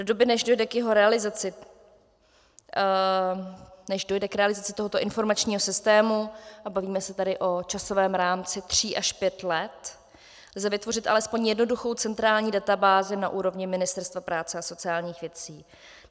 Do doby, než dojde k jeho realizaci, než dojde k realizaci tohoto informačního systému, a bavíme se tady o časovém rámci tří až pět let, lze vytvořit alespoň jednoduchou centrální databázi na úrovni Ministerstva práce a sociálních věcí.